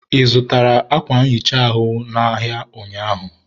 ị zụtara ákwà nhicha ahụ n' ahịa ụnyaahụ?